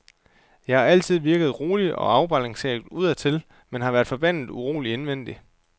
Jeg har altid virket rolig og afbalanceret udadtil, men været forbandet urolig indvendig.